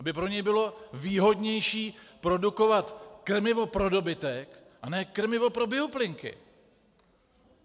Aby pro něj bylo výhodnější produkovat krmivo pro dobytek a ne krmivo pro bioplynky.